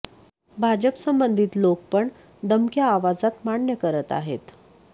भाजप संबंधित लोक पण दमक्या आवाजात मान्य करत आहेत